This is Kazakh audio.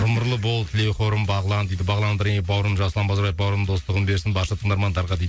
ғұмырлы бол тілеуқорым бағлан дейді бағлан бауырым жасұлан базарбаев бауырымның достығын берсін барша тыңдармандарға дейді